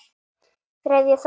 Þriðji þáttur